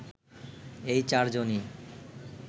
এই চারজনই